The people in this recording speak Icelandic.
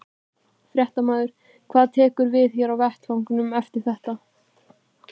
Fréttamaður: Hvað tekur við hér á vettvangnum eftir þetta?